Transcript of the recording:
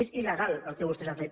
és il·legal el que vostès han fet